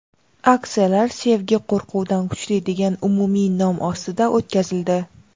Aksiyalar "Sevgi qo‘rquvdan kuchli" degan umumiy nom ostida o‘tkazildi.